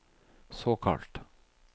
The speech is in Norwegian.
såkalt